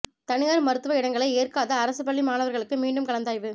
தனியாா் மருத்துவ இடங்களை ஏற்காத அரசுப் பள்ளி மாணவா்களுக்கு மீண்டும் கலந்தாய்வு